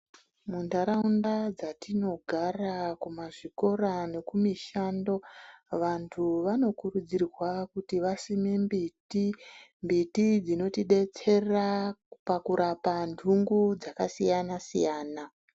Muntaraunda dzatinogara kumazvikora nekumishando vantu vanokurudzirwa kuti vasime mbiti ,mbiti dzinotidetsera pakurapa ndungu dzakasiyana siyana.